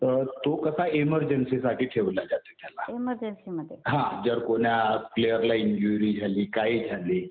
तर तो कसा इमर्जन्सीसाठी ठेवला जाते त्याला.हा. जर कोण्या प्लेयरला इंज्युरी झाली, काही झाली